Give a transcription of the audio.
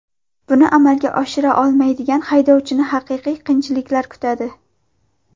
Buni amalga oshira olmaydigan haydovchini haqiqiy qiyinchiliklar kutadi.